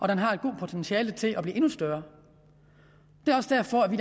den har et godt potentiale til at blive endnu større det er også derfor at vi